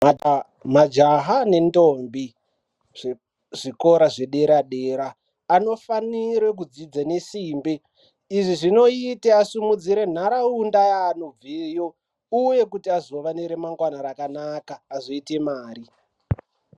Majaha nendombi, zvikora zvedera dera anofanire kudzidza nesimbe izvi zvinoite asimudzire nharaunda yaanobveyo uye kuti azove neremangwana rakanaka azoite nemare.